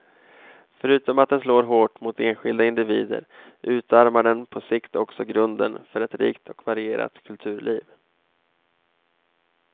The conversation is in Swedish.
Förutom att den slår hårt mot enskilda individer utarmar den på sikt också grunden för ett rikt och varierat kulturliv.